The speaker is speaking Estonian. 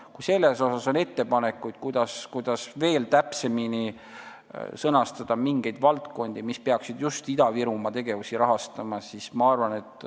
Kui on ettepanekuid, kuidas veel täpsemini sõnastada mingeid valdkondi, kus peaks just Ida-Virumaa tegevusi rahastama, siis need on oodatud.